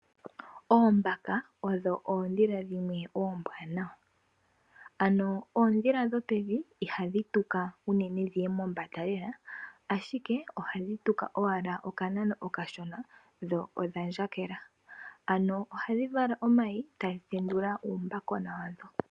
Oombaka odho oondhila dhimwe oombwaanawa. Ano oondhila dhopevi ihadhi tuka unene dhiye mombanda lela. Ashike ohadhi tuka owala oka nano okashona dho odha ndjakela . Ano ohadhi vala omayi etadhi tendula uumbakagona wadho.